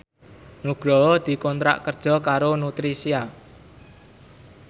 Nugroho dikontrak kerja karo Nutricia